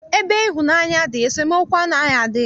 Ebe ịhụnaanya dị, esemookwu anaghị adị ya.